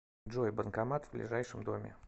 джой банкомат в ближайшем доме